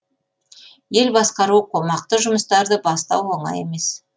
ел басқару қомақты жұмыстарды бастау оңай емес